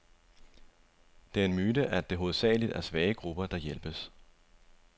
Det er en myte, at det hovedsageligt er svage grupper, der hjælpes.